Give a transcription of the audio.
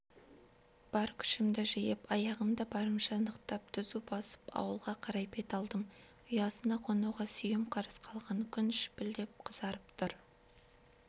бар күшімді жиып аяғымды барымша нықтап түзу басып ауылға қарай бет алдым ұясына қонуға сүйем қарыс қалған күн шіпілдеп қызарып тұр